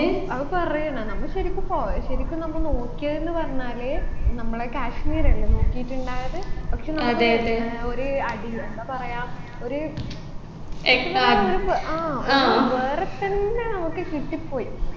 ഔ അഹ് പറയണ നമ്മ ശരിക്കും പോയെ ശരിക്കും നമ്മ നോക്കിയതെന്ന് പറഞ്ഞാല് നമ്മളെ കാശ്മീരല്ലേ നോക്കിയിട്ടുണ്ടായത് പക്ഷേ നമ്മൾ ഏർ ഒരു അടി എന്താ പറയാ ഒര് ആ ഒരു വേറെത്തന്നെ നമുക്ക് കിട്ടിപ്പോയി